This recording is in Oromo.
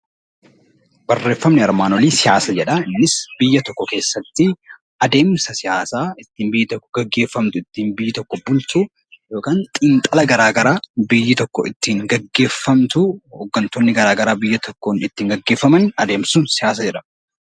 Barreeffamni armaan olii siyaasa jedha. Biyya tokko keessatti adeemsa siyaasaa ittiin biyyi tokko gaggeeffamtu ittiin bultu yookaan xiinxala garaagaraa biyyi tokko ittiin gaggeeffamtu hoggantooleen garaagaraa biyyi tokko ittiin gaggeeffaman siyaasa jedhama.